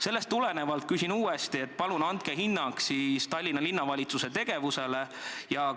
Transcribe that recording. Sellest tulenevalt küsin uuesti: palun andke hinnang Tallinna Linnavalitsuse tegevusele!